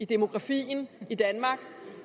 demografien i danmark